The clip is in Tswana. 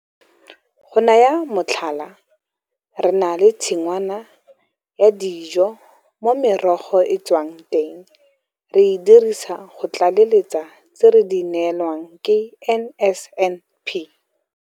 Go naya motlhala, re na le tshingwana ya dijo mo merogo e e tswang teng re e dirisang go tlaleletsa tse re di neelwang ke NSNP.